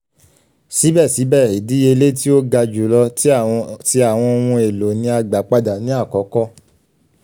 sibẹsibẹ idiyele ti o ga julọ ti awọn ohun elo ni a gba pada ni akọkọ